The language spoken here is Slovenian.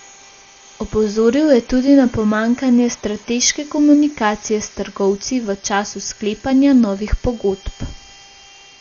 Opozoril je tudi na pomanjkanje strateške komunikacije s trgovci v času sklepanja novih pogodb.